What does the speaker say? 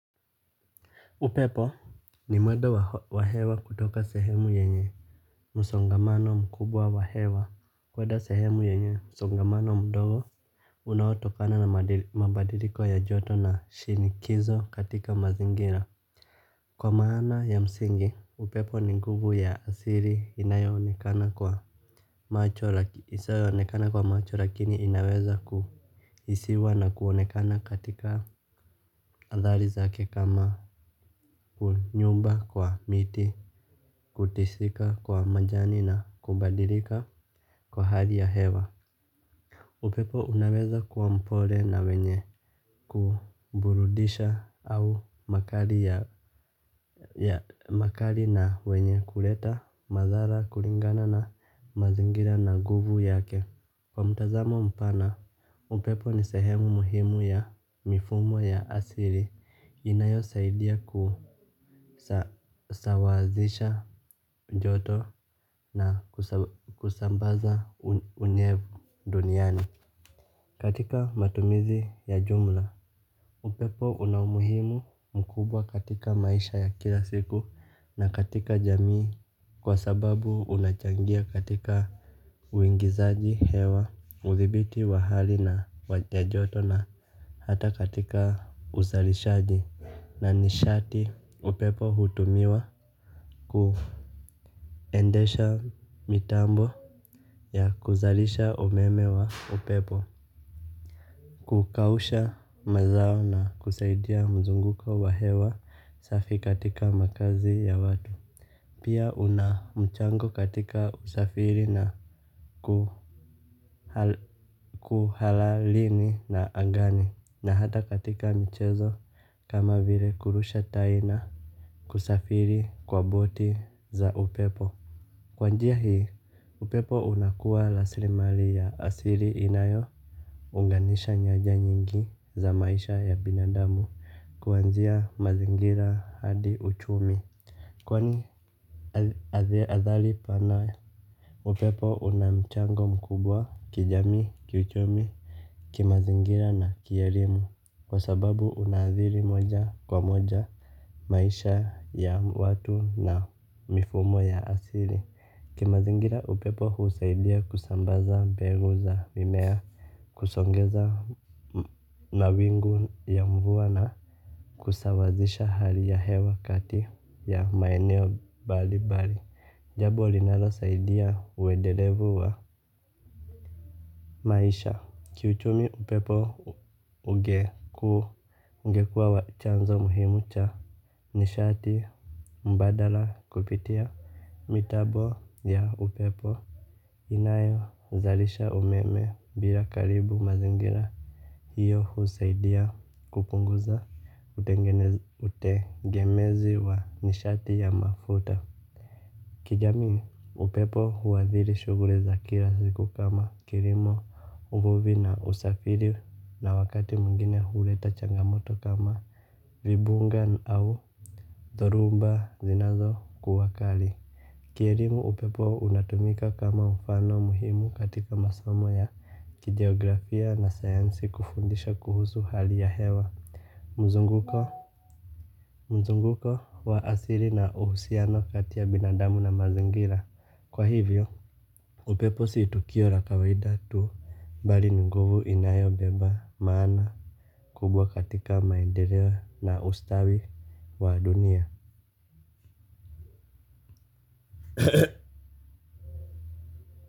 Upepo ni mwedo wa hewa kutoka sehemu yenye musongamano mkubwa wa hewa kweda sehemu yenye musongamano mdogo unaoto kana na mabadiliko ya joto na shinikizo katika mazingira kwa maana ya msingi upepo ni nguvu ya asiri inayoonekana kwa macho lakini inaweza ku isiwa na kuonekana katika adhali zake kama kunyumba kwa miti, kutisika kwa majani na kubadilika kwa hali ya hewa. Upepo unaweza kwa mpole na wenye kuburudisha au makali na wenye kuleta madhala kuringana na mazingira na nguvu yake. Kwa mtazamo mpana, upepo ni sehemu muhimu ya mifumo ya asili inayo saidia kusawazisha joto na kusambaza unyevu duniani. Katika matumizi ya jumla, upepo unamuhimu mkubwa katika maisha ya kila siku na katika jamii. Kwa sababu unachangia katika uingizaji hewa, uthibiti wa hali na wajajoto na hata katika uzalishaji. Na nishati upepo hutumiwa kuendesha mitambo ya kuzalisha umeme wa upepo. Kukausha mazao na kusaidia mzunguko wa hewa safi katika makazi ya watu. Pia unamchango katika usafiri na kuhalalini na angani. Na hata katika michezo kama vile kurusha taina kusafiri kwa boti za upepo. Kwanjia hii upepo unakuwa raslimali ya asili inayo unganisha nyaja nyingi za maisha ya binadamu kuanzia mazingira hadi uchumi. Kwani athari panawe upepo unamchango mkubwa kijamii kiuchumi kimazingira na kierimu kwa sababu unadhiri moja kwa moja. Maisha ya watu na mifumo ya asili. Kimazingira upepo husaidia kusambaza begu za mimea kusongeza mawingu ya mvua na kusawazisha hali ya hewa kati ya maeneo bali bali jambo linalo saidia uedelevu wa Maisha Kiuchumi upepo ugeku ungekua wachanzo muhimu cha nishati mbadala kupitia mitabo ya upepo. Inayo zalisha umeme bila karibu mazingira. Hiyo husaidia kupunguza utengemezi wa nishati ya mafuta. Kijamii upepo huadhiri shughli za kila siku kama kirimo uvuvi na usafiri na wakati mwingine huleta changamoto kama vibunga au zorumba zinazo kuwakali. Kielimo upepo unatumika kama mfano muhimu katika masomo ya kigeografia na sayansi kufundisha kuhusu hali ya hewa. Mzunguko mzunguko wa asili na uhusiano katiya binadamu na mazingira kwa hivyo. Upe posi itukio la kawaida tu bali nguvu inayo beba maana kubwa katika maendeleo na ustawi wa dunia.